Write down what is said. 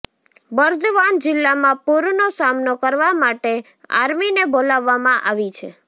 બર્દવાન જીલ્લામાં પૂરનો સામનો કરવા માટે આર્મીને બોલાવવામાં આવી છ્